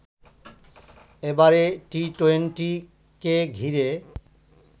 এবারে টি-টোয়েন্টি কে ঘিরে